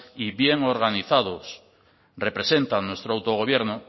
y bien organizados representan nuestro autogobierno